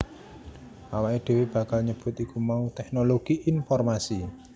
Awaké dhéwé bakal nyebut iku mau tèknologi informasi